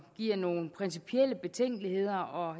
giver nogle principielle betænkeligheder og